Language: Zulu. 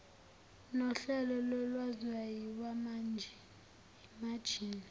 nohlelo lolwazi lwamajini